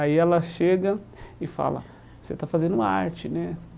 Aí ela chega e fala, você está fazendo arte, né?